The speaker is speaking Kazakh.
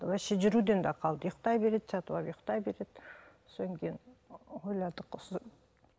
вообще жүруден де қалды ұйқтай береді жатып алып ұйқтай береді содан кейін ойладық осы